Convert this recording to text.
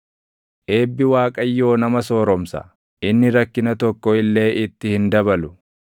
Eebbi Waaqayyoo nama sooromsa; inni rakkina tokko illee itti hin dabalu.